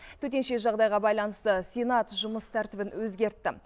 төтенше жағдайға байланысты сенат жұмыс тәртібін өзгертті